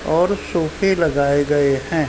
और सोफे लगाए गयें हैं।